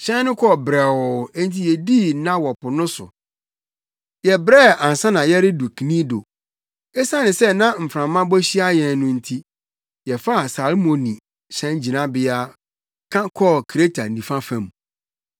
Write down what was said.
Hyɛn no kɔɔ brɛoo enti yedii nna wɔ po no so. Yɛbrɛɛ ansa na yɛredu Knido. Esiane sɛ na mframa bɔ hyia yɛn no nti, yɛfaa Salmoni hyɛngyinabea ka kɔɔ Kreta nifa fam.